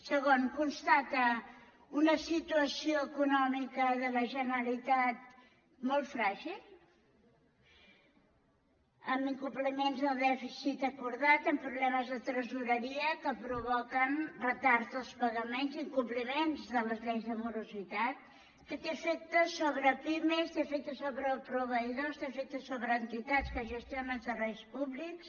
segon constata una situació econòmica de la generalitat molt fràgil amb incompliments del dèficit acordat amb problemes de tresoreria que provoquen retards dels pagaments i incompliments de les lleis de morositat que té efectes sobre pimes té efectes sobre proveïdors té efectes sobre entitats que gestionen serveis públics